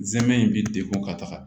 Zɛmɛ in bi degun ka taga